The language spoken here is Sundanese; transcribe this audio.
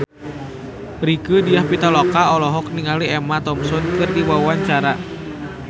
Rieke Diah Pitaloka olohok ningali Emma Thompson keur diwawancara